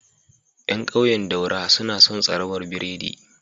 Yan ƙauyen daura, suna son tsrabar biredi